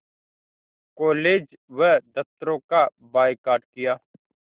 college व दफ़्तरों का बायकॉट किया